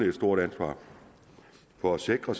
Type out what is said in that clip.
et stort ansvar for at sikre